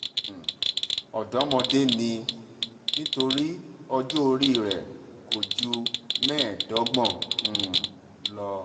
um ọ̀dọ́mọdé ni nítorí ọjọ́ orí rẹ̀ kò ju mẹ́ẹ̀ẹ́dọ́gbọ̀n um lọ